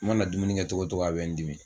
U mana dumuni kɛ togo togo a bɛ n dimi